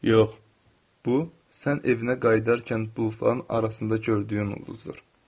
Yox, bu sən evinə qayıdarkən buxarın arasında gördüyün ulduzdur.